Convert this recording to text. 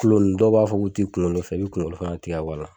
kulo nun dɔw b'a fɔ k'u tɛ kunkolo fɛ i bɛ kunkolo fana tigɛ ka bo a la.